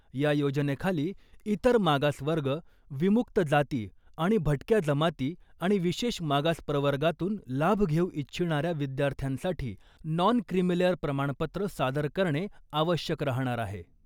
या योजनेखाली इतर मागास वर्ग , विमुक्त जाती आणि भटक्या जमाती आणि विशेष मागास प्रवर्गातून लाभ घेऊ इच्छिणाऱ्या विद्यार्थ्यांसाठी नॉन क्रिमिलेअर प्रमाणपत्र सादर करणे आवश्यक राहणार आहे .